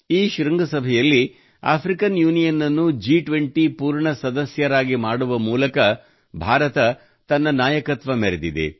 ಈ ಶೃಂಗಸಭೆಯಲ್ಲಿ African Union ಅನ್ನು ಜಿ20 ನ ಪೂರ್ಣ ಸದಸ್ಯನಾಗಿ ಮಾಡುವ ಮೂಲಕ ಭಾರತವು ತನ್ನ ನಾಯಕತ್ವ ಮೆರೆದಿದೆ